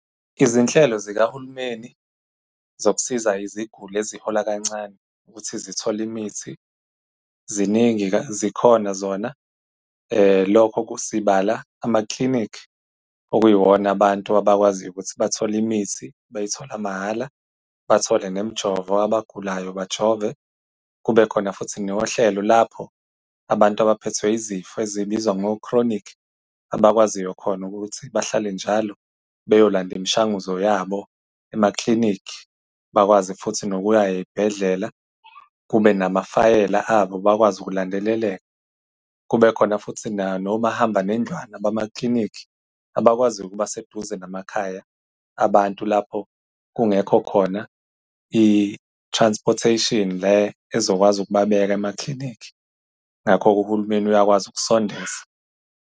Izinhlelo zikahulumeni zokusiza iziguli ezihola kancane ukuthi zithole imithi, ziningi zikhona zona. Lokho sibala amaklinikhi, okuyiwona abantu abawaziyo ukuthi bathole imithi, bayithola mahhala, bathole nemijovo, abagulayo bajove. Kube khona futhi nohlelo lapho abantu abaphethwe izifo ezibizwa ngo-chronic, abakwaziyo khona ukuthi bahlale njalo beyolanda imishanguzo yabo emaklinikhi, bakwazi futhi nokuya ey'bhedlela kube namafayela abo bakwazi ukulandeleleka. Kube khona futhi nomahamba nendlwana abamaklinikhi, abakwaziyo ukuba seduze namakhaya abantu lapho kungekho khona i-transportation le ezokwazi ukubabeka emaklinikhi. Ngakho-ke uhulumeni uyakwazi ukusondeza.